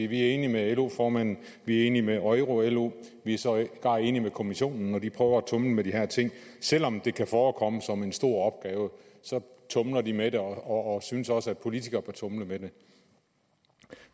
vi er enige med lo formanden vi er enige med euro lo vi er sågar enige med kommissionen når de prøver at tumle med de her ting selv om det kan forekomme som en stor opgave så tumler de med det og synes også at politikere bør tumle med det